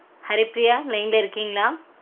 Haripriya line -ல இருக்கீங்களா?